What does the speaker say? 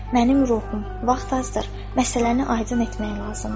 Mənim ruhum, vaxt azdır, məsələni aydın etmək lazımdır.